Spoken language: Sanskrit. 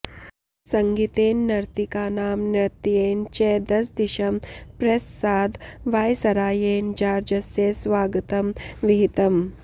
सङ्गीतेन नर्तकीनां नृत्येन च दशदिशं प्रससाद वायसरायेण जार्जस्य स्वागतं विहितम्